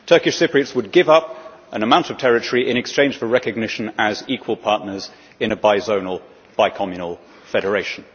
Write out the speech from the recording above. Turkish Cypriots would give up an amount of territory in exchange for recognition as equal partners in a bizonal, bicommunal federation.